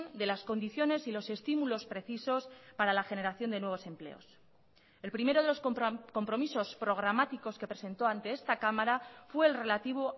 de las condiciones y los estímulos precisos para la generación de nuevos empleos el primero de los compromisos programáticos que presentó ante esta cámara fue el relativo